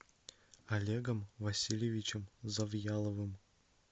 олегом васильевичем завьяловым